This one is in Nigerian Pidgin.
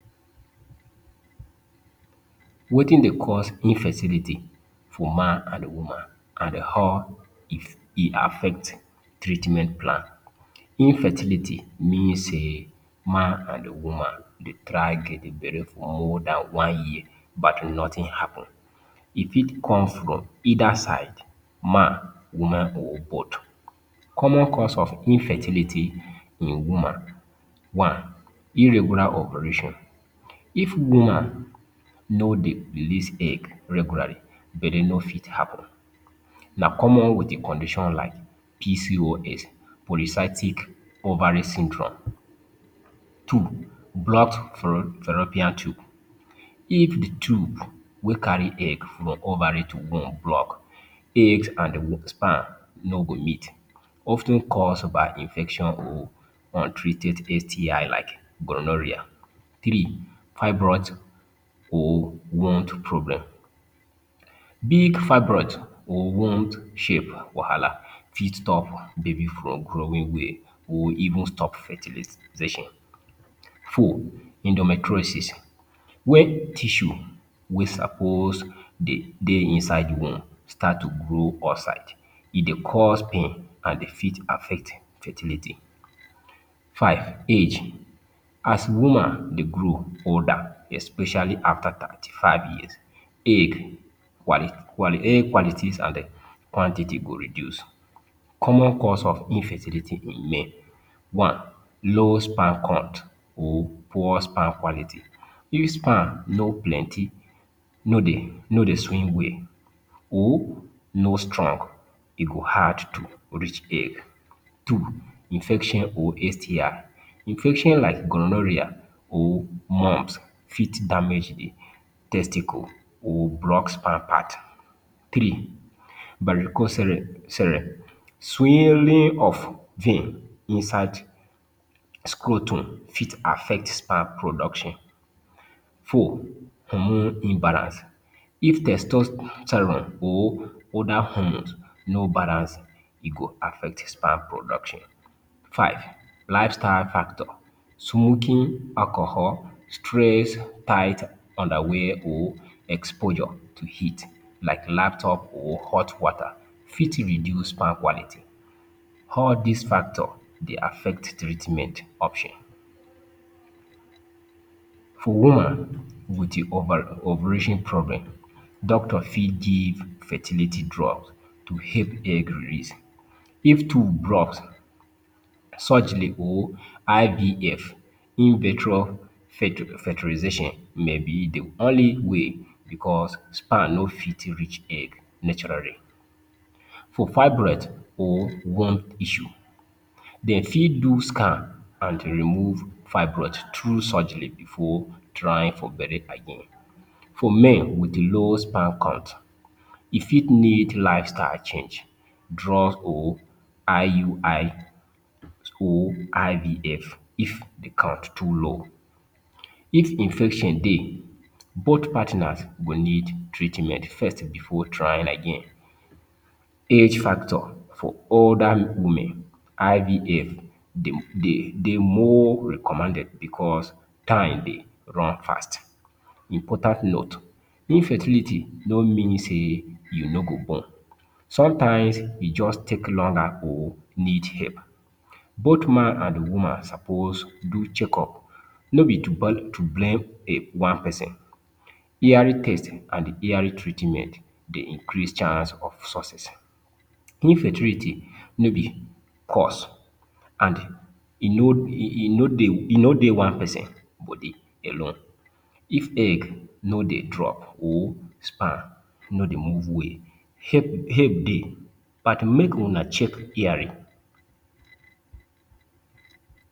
Wetin dey cause infertility for man an woman how if e affect treatment plan. Infertility mean sey man an woman dey try get belle for than one year but nothing happen. E fit come from either side—man, woman, or both. Common cause of infertility in woman: One, Irregular ovulation: If woman no dey release egg regularly, belle no fit happen. Na common with a condition like PCOS - Polycystic Ovary Syndrome. Two, Blocked fallopian tube: If the tube wey carry egg from ovary to womb block, eggs an the sperm no go meet. Of ten caused by infection or untreated STI like gonorrhea. Three: Fibroid or womb problem: Big fibroid or womb shape wahala fit stop baby from growing well or even stop fertilisation. Four, Endometriosis: Wen tissue wey suppose dey dey inside womb start to grow outside, e dey cause pain an e fit affect fertility. Five, Age: As woman dey grow older, especially after thirty five years, egg egg qualities an um quantity go reduce. Common cause of infertility in men: One, Low sperm count or poor sperm quality: If sperm no plenty, no dey no dey swim well or no strong, e go hard to reach egg. Two, Infection or STI: Infection like gonorrhea or fit damage the testicle or block sperm path. Three, Varicocele: Swelling of vein inside scrotum fit affect sperm production. Four, Hormone imbalance: If testosterone or other hormones no balance, e go affect sperm production. Five, Lifestyle factor: Smoking, alcohol, stress, tight underwear or exposure to heat like laptop or hot water fit reduce sperm quality. All dis factor dey affect treatment option. For woman with e ovulation problem, doctor fit give fertility drug to help egg release. If tube block, surgery or IVF - In vitro Fertilization may be the only way becos sperm no fit reach egg naturally. For fibroid or womb issue, de fit do scan an remove fibroid through surgery before trying for belle again. For men with low sperm count, e fit need lifestyle change, drug, or IUI or IVF if the count too low. If Infection dey, both partners go need treatment first before trying again. Age factor: For older women, IVF dey dey dey more recommended becos time dey run fast. Important note: Infertility no mean sey you no go born. Sometimes, e juz take longer or need help. Both man an woman suppose do checkup, no be to to blame a one peson. Early test an early treatment dey increase chance of success. Infertility no be curse, an e no e e no dey e no dey one peson body alone. If egg no dey drop or sperm no dey move well, help help dey. But make una check early.